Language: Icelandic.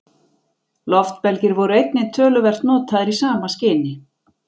loftbelgir voru einnig töluvert notaðir í sama skyni